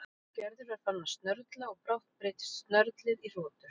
Gerður var farin að snörla og brátt breyttist snörlið í hrotur.